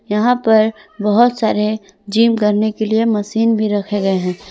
यहां पर बहुत सारे जिम करने के लिए मशीन भी रखे गए हैं।